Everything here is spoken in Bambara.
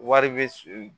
Wari bɛ